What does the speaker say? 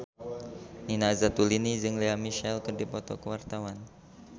Nina Zatulini jeung Lea Michele keur dipoto ku wartawan